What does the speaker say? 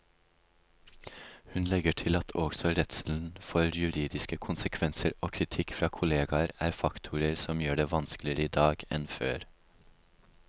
Hun legger til at også redselen for juridiske konsekvenser og kritikk fra kolleger er faktorer som gjør det vanskeligere i dag enn før.